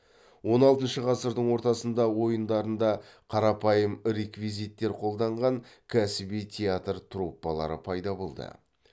он алтыншы ғасырдың ортасында ойындарында қарапайым реквизиттер қолданған кәсіби театр труппалары пайда болды